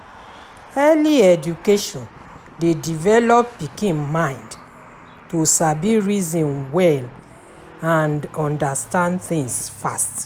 Early education de develop pikin mind to sabi reason well and understand things fast